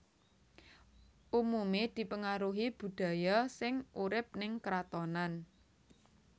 Umumé dipengaruhi budaya sing urip ning kratonan